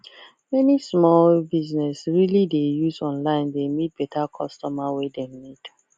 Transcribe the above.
many small business really dey use online dey meet better customer wey dem need